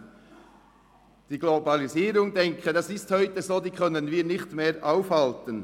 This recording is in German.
Ich denke, die Globalisierung können wir nicht mehr aufhalten.